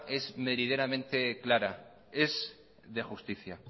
es meridianamente clara es de justicia